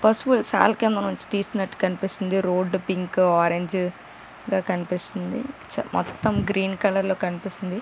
పశువుల శాల కింద నుండి తీసినట్టు కనిపిస్తుంది రోడ్ పింక్ ఆరెంజ్ గా కనిపిస్తుంది మొత్తం గ్రీన్ గ కనిపిస్తుంది .